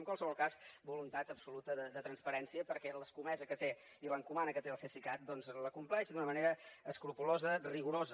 en qualsevol cas voluntat absoluta de transparència perquè la comesa que té i l’encomana que té el cesicat doncs les compleix d’una manera escrupolosa rigorosa